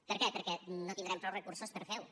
per què perquè no tindrem prou recursos per fer ho